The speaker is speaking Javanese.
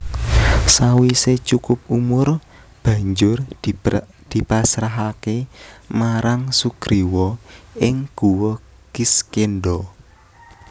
Sawisé cukup umur banjur dipasrahaké marang Sugriwa ing Guwa Kiskendha